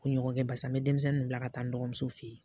Kunɲɔgɔn kɛ barisa n bɛ denmisɛnnin bila ka taa n dɔgɔmuso fɛ yen.